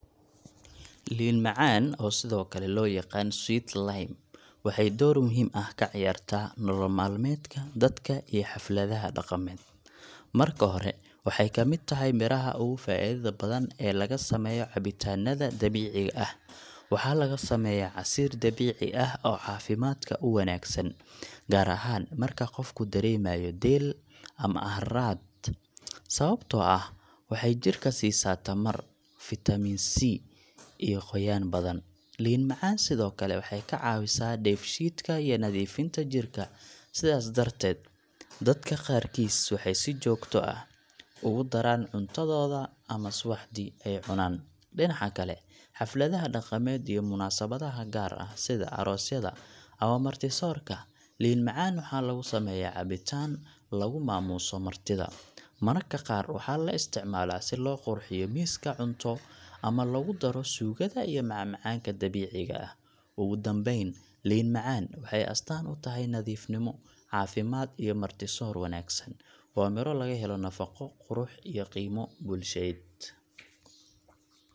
Liin macaan, oo sidoo kale loo yaqaan sweet lime, waxay door muhiim ah ka ciyaartaa nolol maalmeedka dadka iyo xafladaha dhaqameed. Marka hore, waxay ka mid tahay miraha ugu faa’iidada badan ee laga sameeyo cabitaanada dabiiciga ah. Waxaa laga sameeyaa casiir dabiici ah oo caafimaadka u wanaagsan, gaar ahaan marka qofku dareemayo deel ama harraad, sababtoo ah waxay jirka siisaa tamar, fiitamiin C iyo qoyaan badan. Liin macaan sidoo kale waxay kaa caawisaa dheef-shiidka iyo nadiifinta jirka, sidaas darteed dadka qaarkiis waxay si joogto ah ugu daraan cuntadooda ama subaxdii ay cunaan. Dhinaca kale, xafladaha dhaqameed iyo munaasabadaha gaar ah, sida aroosyada ama marti-soorka, liin macaan waxaa lagu sameeyaa cabitaan lagu maamuuso martida. Mararka qaar waxaa la isticmaalaa si loo qurxiyo miiska cunto ama loogu daro suugada iyo macmacaanka dabiiciga ah. Ugu dambayn, liin macaan waxay astaan u tahay nadiifnimo, caafimaad iyo marti-soor wanaagsan. Waa miro laga helo nafaqo, qurux, iyo qiimo bulsheed.